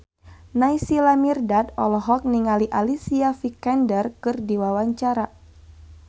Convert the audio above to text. Naysila Mirdad olohok ningali Alicia Vikander keur diwawancara